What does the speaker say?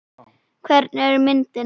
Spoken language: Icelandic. Hvernig er myndin?